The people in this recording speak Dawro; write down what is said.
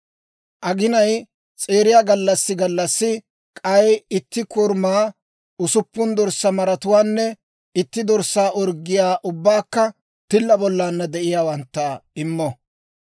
«‹ «Aginay s'eeriya gallassi gallassi k'ay itti korumaa, usuppun dorssaa maratuwaanne itti dorssaa orggiyaa, ubbaykka tilla bollaanna de'iyaawantta immo.